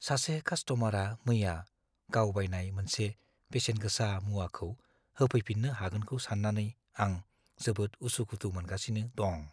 सासे कास्ट'मारआ मैया गाव बायनाय मोनसे बेसेन-गोसा मुवाखौ होफैफिन्नो हागौखौ सान्नानै आं जोबोद उसु-खुथु मोनगासिनो दं।